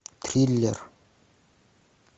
триллер